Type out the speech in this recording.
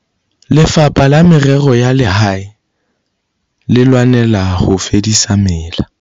Lefapha la Merero ya Lehae le lwanela ho fedisa mela.